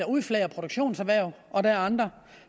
udflager produktion og der er andre